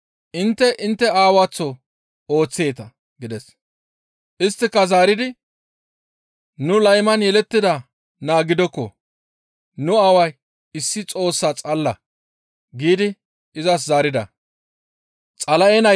Intte intte aawaththo ooththeeta» gides. Isttika zaaridi, «Nu layman yelettida naa gidokko; nu aaway issi Xoossaa xalla» giidi izas zaarida.